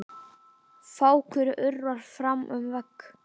Fákur urrar fram um veg.